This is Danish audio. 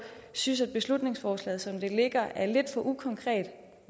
synes at beslutningsforslaget som det ligger at lidt for ukonkret